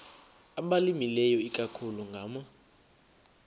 abalimileyo ikakhulu ngama